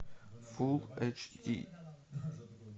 фул эйч ди